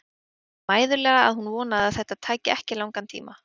Sagði mæðulega að hún vonaði að þetta tæki ekki langan tíma.